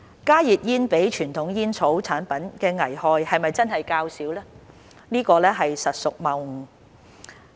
"加熱煙比傳統煙草產品的危害較少"實屬謬誤。